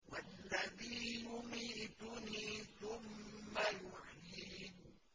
وَالَّذِي يُمِيتُنِي ثُمَّ يُحْيِينِ